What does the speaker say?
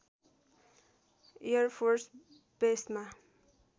air force बेसमा